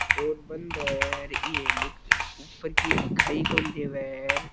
ओर बंद है र ऊपर की दिखाई कोनी देवे है।